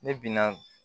Ne bi na